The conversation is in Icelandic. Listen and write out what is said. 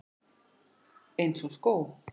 Eins og skó.